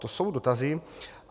To jsou dotazy.